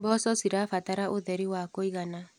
Mboco cirabatara ũtheri wa kũigana.